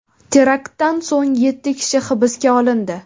Teraktdan so‘ng yetti kishi hibsga olindi.